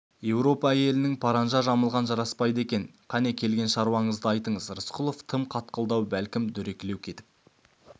еуропа әйелінің паранжа жамылғаны жараспайды екен кәне келген шаруаңызды айтыңыз рысқұлов тым қатқылдау бәлкім дөрекілеу кетіп